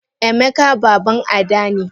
Emeka baban ada ne.